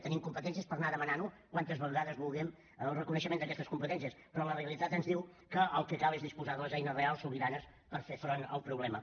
tenim competències per anar demanant tantes vegades com vulguem el reconeixement d’aquestes competències però la realitat ens diu que el que cal és disposar de les eines reals sobiranes per fer front al problema